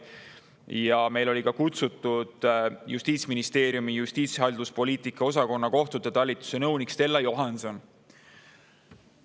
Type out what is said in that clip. oli kutsutud ka Justiitsministeeriumi justiitshalduspoliitika osakonna kohtute talituse nõunik Stella Johanson.